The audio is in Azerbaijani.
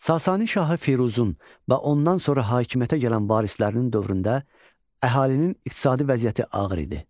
Sasani şahı Firuzun və ondan sonra hakimiyyətə gələn varislərinin dövründə əhalinin iqtisadi vəziyyəti ağır idi.